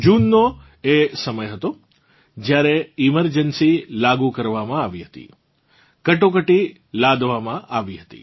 જૂનનો એ સમય હતો જ્યારે એમર્જન્સી લાગુ કરવામાં આવી હતી કટોકટી લાદવામાં આ હતી